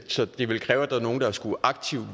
så det ville kræve at nogle skulle